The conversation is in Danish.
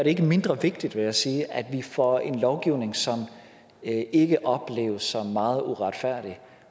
ikke mindre vigtigt vil jeg sige at vi får en lovgivning som ikke ikke opleves som meget uretfærdig